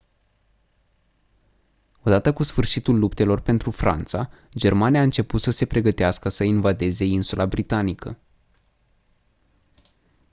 odată cu sfârșitul luptelor pentru franța germania a început să se pregătească să invadeze insula britanică